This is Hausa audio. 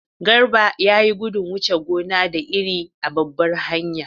Garba ya yi gudun wuce gona da iri a babbar hanya.